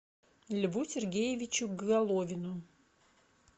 льву сергеевичу головину